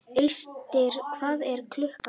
Austri, hvað er klukkan?